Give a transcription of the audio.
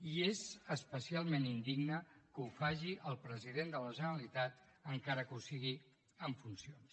i és especialment indigne que ho faci el president de la generalitat encara que ho sigui en funcions